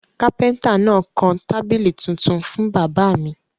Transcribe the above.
Kápẹ́ńtà náà kan tábìlì tuntun fún bàbá mi.